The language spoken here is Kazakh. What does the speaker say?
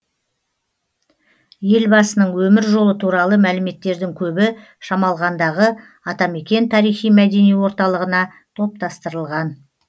елбасының өмір жолы туралы мәліметтердің көбі шамалғандағы атамекен тарихи мәдени орталығына топтастырылған